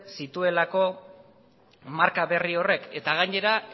zituelako marka berri horiek eta gainera